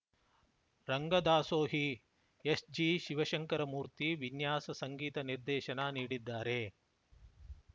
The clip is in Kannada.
ರಂಗದಾಸೋಹಿ ಎಸ್‌ಜಿಶಿವ ಶಂಕರಮೂರ್ತಿ ವಿನ್ಯಾಸ ಸಂಗೀತ ನಿರ್ದೇಶನ ನೀಡಿದ್ದಾರೆ